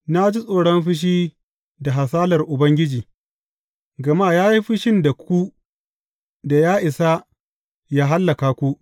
Na ji tsoron fushi da hasalar Ubangiji, gama ya yi fushin da ku da ya isa yă hallaka ku.